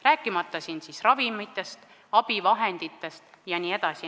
Ma ei räägi ravimitest, abivahenditest jne.